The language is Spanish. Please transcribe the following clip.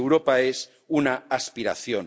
Europa es una aspiración.